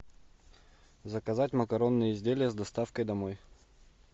заказать макаронные изделия с доставкой домой